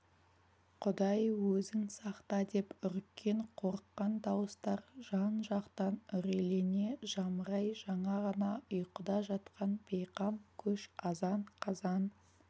құдай өзің сақта деп үріккен қорыққан дауыстар жан-жақтан үрейлене жамырай жаңа ғана ұйқыда жатқан бейқам көш азан-қазан